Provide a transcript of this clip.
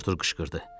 Artur qışqırdı.